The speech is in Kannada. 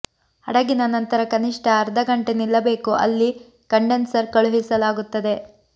ಹಡಗಿನ ನಂತರ ಕನಿಷ್ಠ ಅರ್ಧ ಗಂಟೆ ನಿಲ್ಲಬೇಕು ಅಲ್ಲಿ ಕಂಡೆನ್ಸರ್ ಕಳುಹಿಸಲಾಗುತ್ತದೆ